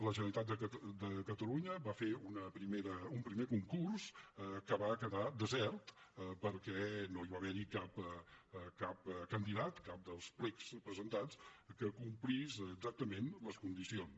la generalitat de catalunya va fer un primer concurs que va quedar desert perquè no hi va haver cap candidat cap dels plecs presentats que en complís exactament les condicions